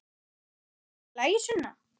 Er allt í lagi, Sunna?